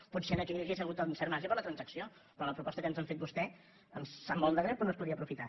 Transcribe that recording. potser aquí hi hauria hagut un cert marge per a la transacció però la proposta que ens ha fet vostè em sap molt de greu però no es podia aprofitar